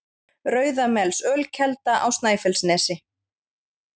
Rauðamelsölkelda á Snæfellsnesi